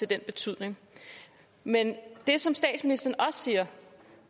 den betydning men det som statsministeren også siger